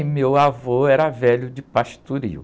E meu avô era velho de pastoril.